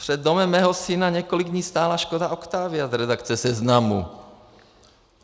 Před domem mého syna několik dní stála Škoda Octavia z redakce Seznamu.